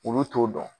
Olu t'o dɔn